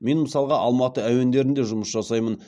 мен мысалға алматы әуендерінде жұмыс жасаймын